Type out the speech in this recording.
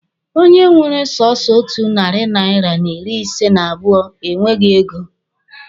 Onye nwere sọsọ otu narị naira n'ịrị ise n'abụọ e nweghi ego.